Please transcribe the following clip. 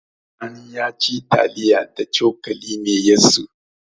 Sani ya ci taliya da cokali mai yatsu.